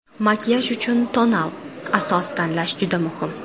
Makiyaj uchun tonal asos tanlash juda muhim.